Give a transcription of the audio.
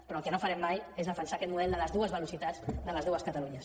però el que no farem mai és defensar aquest model de les dues velocitats de les dues catalunyes